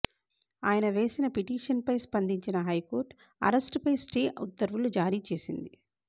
ఆయన వేసిన పిటిషన్పై స్పందించిన హైకోర్టు అరెస్టుపై స్టే ఉత్తర్వులు జారీచేసింది